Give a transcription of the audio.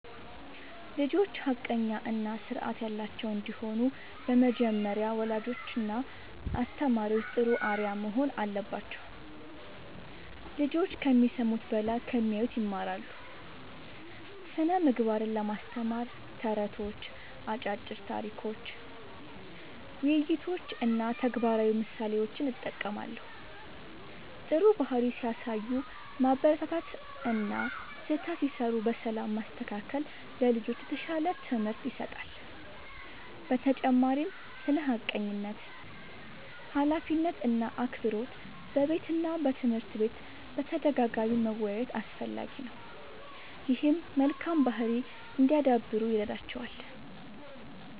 ልጆች ሐቀኛ እና ስርዓት ያላቸው እንዲሆኑ በመጀመሪያ ወላጆችና አስተማሪዎች ጥሩ አርአያ መሆን አለባቸው። ልጆች ከሚሰሙት በላይ ከሚያዩት ይማራሉ። ስነ ምግባርን ለማስተማር ተረቶች፣ አጫጭር ታሪኮች፣ ውይይቶች እና ተግባራዊ ምሳሌዎችን እጠቀማለሁ። ጥሩ ባህሪ ሲያሳዩ ማበረታታት እና ስህተት ሲሠሩ በሰላም ማስተካከል ለልጆች የተሻለ ትምህርት ይሰጣል። በተጨማሪም ስለ ሐቀኝነት፣ ኃላፊነት እና አክብሮት በቤትና በትምህርት ቤት በተደጋጋሚ መወያየት አስፈላጊ ነው። ይህም መልካም ባህሪ እንዲያዳብሩ ይረዳቸዋል።